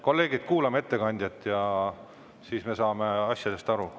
Kolleegid, kuulame ettekandjat, siis me saame asjadest aru.